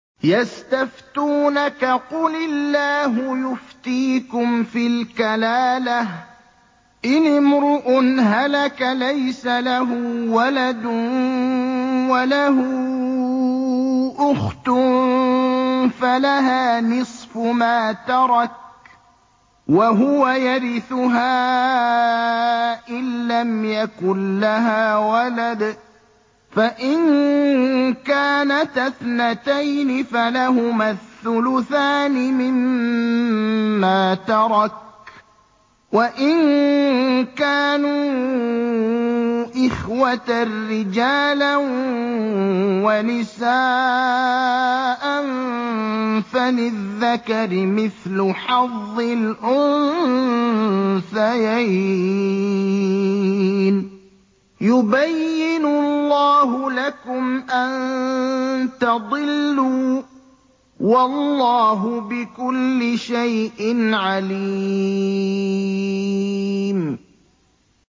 يَسْتَفْتُونَكَ قُلِ اللَّهُ يُفْتِيكُمْ فِي الْكَلَالَةِ ۚ إِنِ امْرُؤٌ هَلَكَ لَيْسَ لَهُ وَلَدٌ وَلَهُ أُخْتٌ فَلَهَا نِصْفُ مَا تَرَكَ ۚ وَهُوَ يَرِثُهَا إِن لَّمْ يَكُن لَّهَا وَلَدٌ ۚ فَإِن كَانَتَا اثْنَتَيْنِ فَلَهُمَا الثُّلُثَانِ مِمَّا تَرَكَ ۚ وَإِن كَانُوا إِخْوَةً رِّجَالًا وَنِسَاءً فَلِلذَّكَرِ مِثْلُ حَظِّ الْأُنثَيَيْنِ ۗ يُبَيِّنُ اللَّهُ لَكُمْ أَن تَضِلُّوا ۗ وَاللَّهُ بِكُلِّ شَيْءٍ عَلِيمٌ